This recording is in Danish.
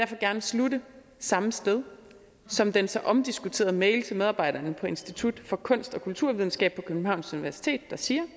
gerne slutte samme sted som den så omdiskuterede mail til medarbejderne på institut for kunst og kulturvidenskab på københavns universitet der siger